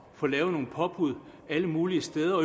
få lavet nogle påbud alle mulige steder